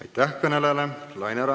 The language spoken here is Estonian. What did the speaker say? Aitäh kõnelejale!